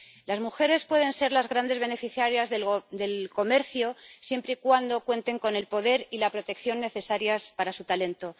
Las mujeres pueden ser las grandes beneficiarias del comercio, siempre y cuando cuenten con el poder y la protección necesarios para su talento.